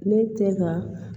Ne tɛ ka